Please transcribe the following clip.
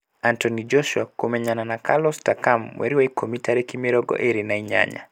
Anthony Joshua kũrmenyana na Carlos Takam mwei wa Ikũrmi tarĩki mĩrongo ĩĩri na inyanya